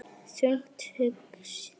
Þungt hugsi?